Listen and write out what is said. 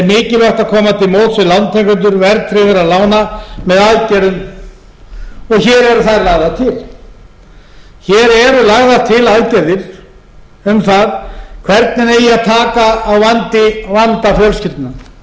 við lántakendur verðtryggðra lána með aðgerðum hér eru þær lagðar til hér eru lagðar til aðgerðir um það hvernig eigi að taka á vanda fjölskyldna vanda einstaklinganna